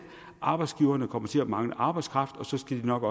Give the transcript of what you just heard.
arbejdsgiverne kommer til at mangle arbejdskraft og så skal de nok